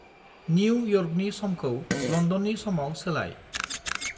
New यर्कनि समखौ लन्दननि समाव सोलाय।